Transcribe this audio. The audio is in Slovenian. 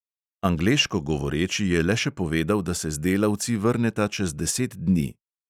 Angleško govoreči je le še povedal, da se z delavci vrneta čez deset dni.